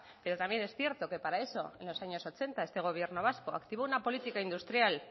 pero también es cierto que para eso en los años ochenta este gobierno vasco activó una política industrial